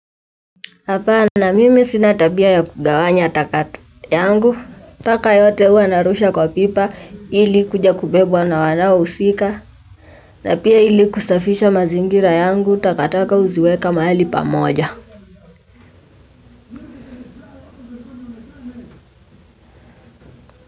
Hapana mimi sina tabia ya kugawanya taka yangu, taka yote huwa narusha kwa pipa ili ikuja kubebwa na wanaohusika, na pia ili kusafisha mazingira yangu takataka huziweka mahali pamoja.